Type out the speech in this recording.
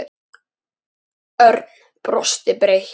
Hvað gerið þér?